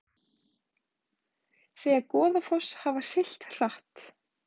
Segja Goðafoss hafa siglt hratt